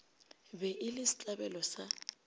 be e le setlabelo sa